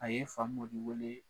A ye Famodi wele